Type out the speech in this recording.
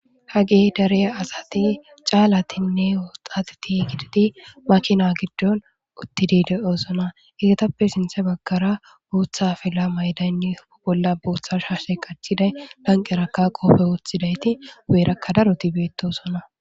ha ge dare asati caalatinne woxatiti gididi makina giddon uttidi de7oosona egetappe sinthe baggara buutha fila maydaynni u bolla buutha shashe qachiday lanqerakka qopfe wooththidayti guyerakka daroti beettosona